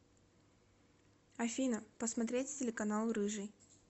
афина посмотреть телеканал рыжий